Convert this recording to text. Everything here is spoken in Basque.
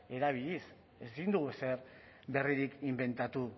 erabiliz ezin dugu ezer berririk inbentatu